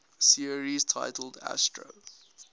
series titled astro